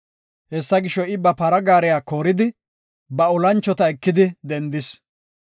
Hessa gisho, I ba para gaariya kooridi, ba olanchota ekidi dendis.